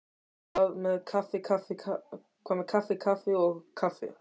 Hvað um kaffi kaffi og kaffi.